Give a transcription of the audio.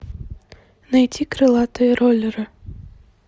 найди крылатые роллеры